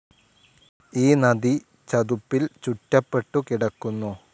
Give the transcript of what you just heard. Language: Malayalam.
ഈ നദി ചതുപ്പിൽ ചുറ്റപ്പെട്ടുകിടക്കുന്നു.